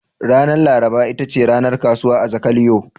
Ranar laraba ita ce ranar kasuwa a Zakaliyo.